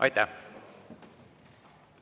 Aitäh!